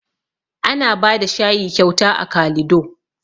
Ana bada shayi kyauta a kalido